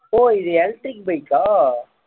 ஓ இது electric bike ஆ